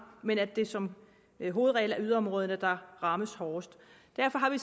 men det er som hovedregel yderområderne der rammes hårdest derfor har vi